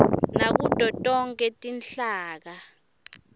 nakuto tonkhe tinhlaka